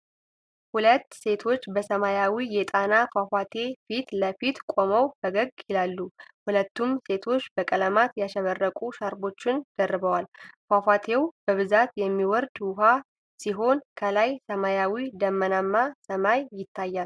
ሁለት ሴቶች በሰማያዊ የጣና ፏፏቴ ፊት ለፊት ቆመው ፈገግ ይላሉ። ሁለቱም ሴቶች በቀለማት ያሸበረቁ ሻርፖችን ደርበዋል። ፏፏቴው በብዛት የሚወርድ ውሃ ሲሆን፣ ከላይ ሰማያዊ ደመናማ ሰማይ ይታያል።